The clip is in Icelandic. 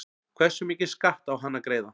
Hversu mikinn skatt á hann að greiða?